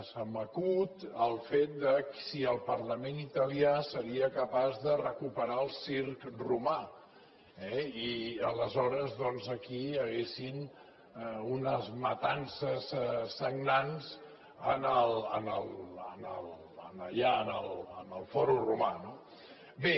se m’acut el fet de si el parlament italià seria capaç de recuperar el circ romà eh i aleshores doncs aquí hi haguessin unes matances sagnants allà en el fòrum romà no bé